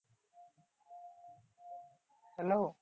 Hello